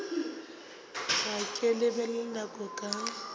ge ke lebelela nako ka